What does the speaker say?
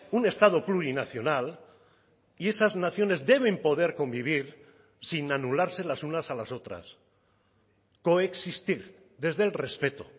un estado plurinacional y esas naciones deben poder convivir sin anularse las unas a las otras coexistir desde el respeto